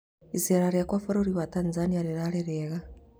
Icera rĩakwa bũrũri wa Tanzania rĩrarĩ rĩega